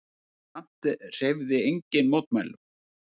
Samt hreyfði enginn mótmælum.